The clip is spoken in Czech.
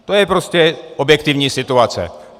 To je prostě objektivní situace.